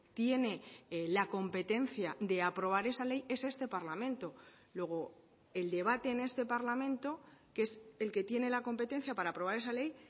tiene la competencia de aprobar esa ley es este parlamento luego el debate en este parlamento que es el que tiene la competencia para aprobar esa ley